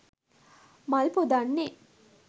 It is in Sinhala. මල් පුදන්නේ